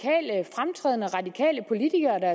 fremtrædende radikale politikere der